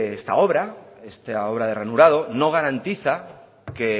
esta obra esta obra de ranurado no garantiza que